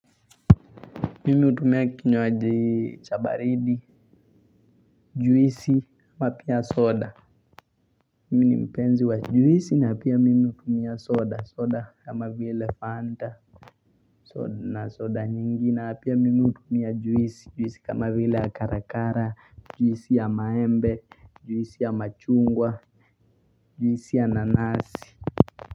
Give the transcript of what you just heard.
Mimi hutumia kinywaji cha baridi, juisi, na pia soda. Mimi ni mpenzi wa juisi na pia mimi hutumia soda, soda kama vile fanta na soda nyingi na pia mimi hutumia juisi, juisi kama vile ya karakara, juisi ya maembe, juisi ya machungwa, juisi ya nanasi.